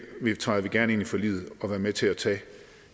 deltager vi gerne i forliget og er med til at tage